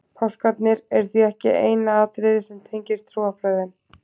Páskarnir eru því ekki eina atriðið sem tengir trúarbrögðin.